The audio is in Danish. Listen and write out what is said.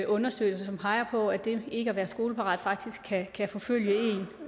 undersøgelser som peger på at det ikke at være skoleparat faktisk kan kan forfølge en